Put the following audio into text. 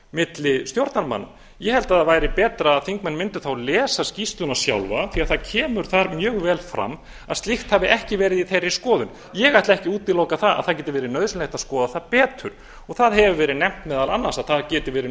milli stjórnarmanna ég held að það væri betra að þingmenn mundu þá lesa skýrsluna sjálfa því það kemur þar mjög vel fram að slíkt hafi ekki verið í þeirri skoðun ég ætla ekki að útiloka að það geti verið nauðsynlegt að skoða það betur og það hefur verið nefnt meðal annars að það geti verið